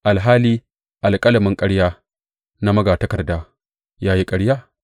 alhali alƙalamin ƙarya na magatakarda ya yi ƙarya?